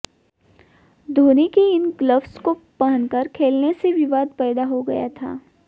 धोनी के इन ग्लव्स को पहनकर खेलने से विवाद पैदा हो गया था